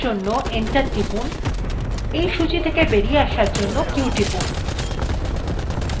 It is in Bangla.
সূচীটা সম্পূর্ণ দেখার জন্য enter টিপুন এই সূচী থেকে বেরিয়ে আসার জন্য q টিপুন